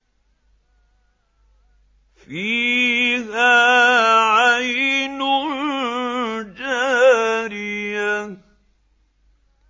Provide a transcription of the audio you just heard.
فِيهَا عَيْنٌ جَارِيَةٌ